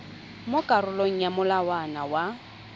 mo karolong ya molawana wa